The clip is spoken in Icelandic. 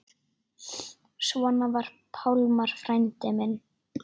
Svona var Pálmar frændi minn.